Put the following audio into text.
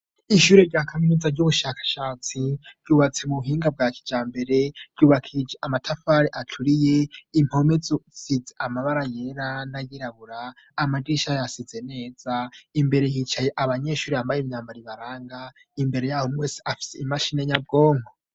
ishure rya kaminuza ry'ubushakashatsi ryubatse mu buhinga bwakijambere ryubakishijwe amatafari aturiye impome zisize amabara yera nayirabura amadirisha yasize neza imbere hicaye abanyeshuri bambaye imyambaro ibaranga imbere yaho umwe wese afite imashine nyabwongo